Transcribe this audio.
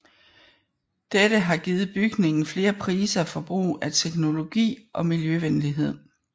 Dette har givet bygningen flere priser for brug af teknologi og miljøvenlighed